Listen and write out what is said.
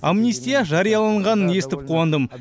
амнистия жарияланғанын естіп қуандым